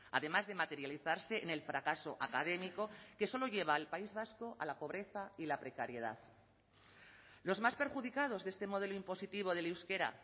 además de materializarse en el fracaso académico que solo lleva al país vasco a la pobreza y la precariedad los más perjudicados de este modelo impositivo del euskera